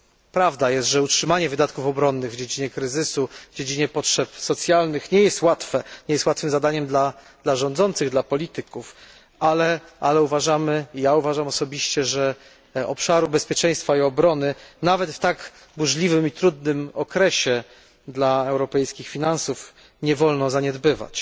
Prawdą jest, że utrzymanie wydatków obronnych w dobie kryzysu, w obliczu potrzeb socjalnych nie jest łatwym zadaniem dla rządzących, dla polityków, ale uważamy i ja uważam osobiście że obszaru bezpieczeństwa i obrony, nawet w tak burzliwym i trudnym okresie dla europejskich finansów, nie wolno zaniedbywać.